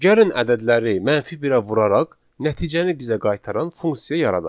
Gəlin ədədləri mənfi birə vuraraq nəticəni bizə qaytaran funksiya yaradaq.